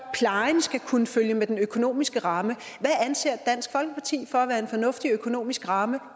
at plejen skal kunne følge med den økonomiske ramme hvad anser dansk folkeparti for at være en fornuftig økonomisk ramme